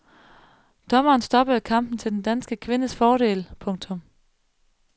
Dommeren stoppede kampen til den danske kvindes fordel. punktum